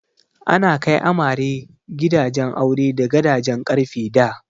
Ana kai amare gidan aure da gadajen ƙarfe da.